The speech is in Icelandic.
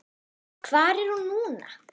Hvar er hún núna?